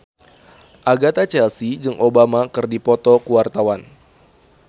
Agatha Chelsea jeung Obama keur dipoto ku wartawan